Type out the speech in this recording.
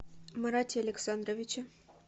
марате александровиче